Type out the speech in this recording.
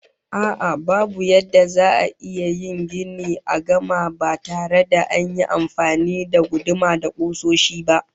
A'a, babu yadda za'a iya yin gini a gama ba tare da an yi amfani da guduma da kusoshi ba